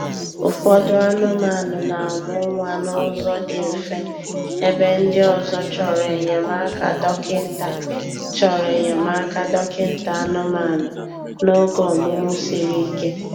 Ụfọdụ anụmanụ na-amụ nwa n'ụzọ dị mfe ebe ndị ọzọ chọrọ enyemaka dọkịta chọrọ enyemaka dọkịta anụmanụ n'oge ọmụmụ siri ike.